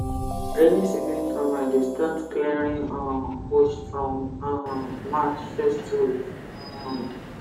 rainy season farmer dey start clearing um bush from um march first week um